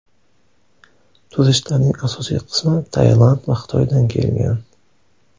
Turistlarning asosiy qismi Tailand va Xitoydan kelgan.